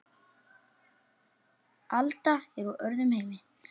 Alda er úr öðrum heimi.